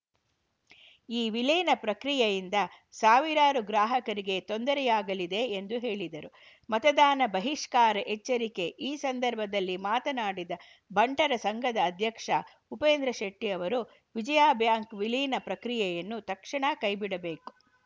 ಈ ವಿಲೀನ ಪ್ರಕ್ರಿಯೆಯಿಂದ ಸಾವಿರಾರು ಗ್ರಾಹಕರಿಗೆ ತೊಂದರೆಯಾಗಲಿದೆ ಎಂದು ಹೇಳಿದರು ಮತದಾನ ಬಹಿಷ್ಕಾರ ಎಚ್ಚರಿಕೆ ಈ ಸಂದರ್ಭದಲ್ಲಿ ಮಾತನಾಡಿದ ಬಂಟರ ಸಂಘದ ಅಧ್ಯಕ್ಷ ಉಪ್ಪೇಂದ್ರ ಶೆಟ್ಟಿಅವರು ವಿಜಯಾ ಬ್ಯಾಂಕ್‌ ವಿಲೀನ ಪ್ರಕ್ರಿಯೆಯನ್ನು ತಕ್ಷಣ ಕೈ ಬಿಡಬೇಕು